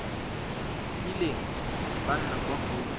kileng ba nna kwa go